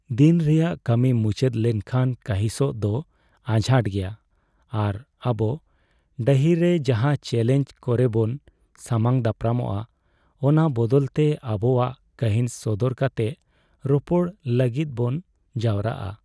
ᱫᱤᱱ ᱨᱮᱭᱟᱜ ᱠᱟᱹᱢᱤ ᱢᱩᱪᱟᱹᱫ ᱞᱮᱱᱠᱷᱟᱱ ᱠᱟᱺᱦᱤᱥᱚᱜ ᱫᱚ ᱟᱡᱷᱟᱴ ᱜᱮᱭᱟ, ᱟᱨ ᱟᱵᱚ ᱰᱟᱹᱦᱤᱨᱮ ᱡᱟᱦᱟᱸ ᱪᱮᱹᱞᱮᱧᱡᱽ ᱠᱚᱨᱮᱵᱚᱱ ᱥᱟᱢᱟᱝ ᱫᱟᱯᱨᱟᱢᱟᱜᱼᱟ ᱚᱱᱟ ᱵᱟᱵᱚᱫᱛᱮ ᱟᱵᱚᱣᱟᱜ ᱠᱟᱺᱦᱤᱥ ᱥᱚᱫᱚᱨ ᱠᱟᱛᱮ ᱨᱚᱯᱚᱲ ᱞᱟᱹᱜᱤᱫᱵᱚᱱ ᱡᱟᱣᱨᱟᱜᱼᱟ ᱾